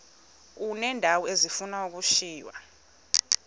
uneendawo ezifuna ukushiywa